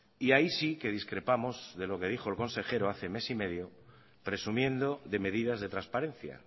y ahí sí que discrepamos de lo que dijo el consejero hace mes y medio presumiendo de medidas de transparencia